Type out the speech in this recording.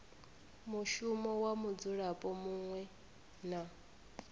mushumo wa mudzulapo muṅwe na